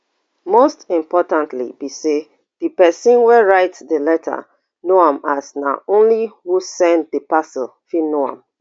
most importantly be say di pesin wey write di letter know am as na only who send di parcel fit know am